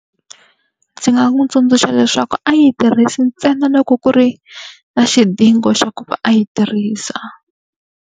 Ndzi nga n'wi tsundzuxa leswaku a yi tirhisi ntsena loko ku ri na xidingo xa ku va a yi tirhisa.